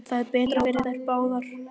Það er betra fyrir þær báðar.